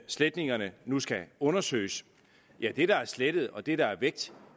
sletningerne nu skal undersøges det der er slettet og det der er